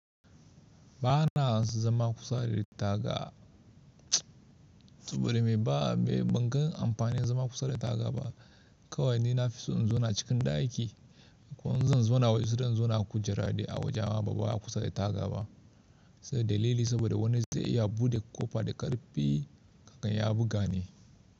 Ba na zama kusa da taga, mts saboda me ban gan amfani zama kusa da ritaga ba. Kawai ni na fi so in zo na cikin ɗaki. Ko in zan zo na waje, sede in zauna kujerade a waje bama a kusa da taga ba, sai da lili saboda wani zai iya buɗe ƙofa da ƙarfi akan ya buga ni.